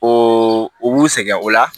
O u b'u sɛgɛn o la